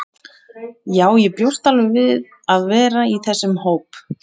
Já, ég bjóst alveg við að vera í þessum hóp.